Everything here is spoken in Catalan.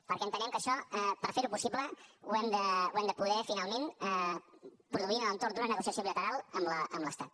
perquè entenem que això per fer ho possible ho hem de poder finalment produir en l’entorn d’una negociació bilateral amb l’estat